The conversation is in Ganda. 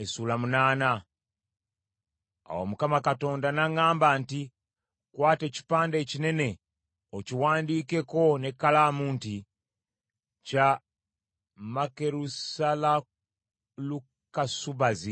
Awo Mukama Katonda n’aŋŋamba nti, “Kwata ekipande ekinene okiwandiikeko n’ekkalaamu nti: Kya Makerusalalukasubazi.”